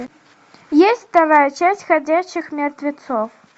есть вторая часть ходячих мертвецов